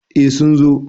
eh sun zo